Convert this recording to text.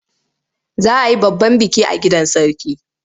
Za a yi babban biki a gidan Sarki.